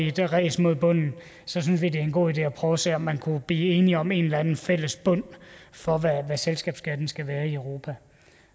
i det ræs mod bunden synes vi at det er en god idé at prøve at se om man kunne blive enige om en eller anden fælles bund for hvad selskabsskatten skal være i europa